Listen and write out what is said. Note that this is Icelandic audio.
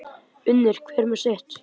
Unir hver með sitt.